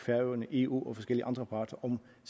og eu og forskellige andre parter om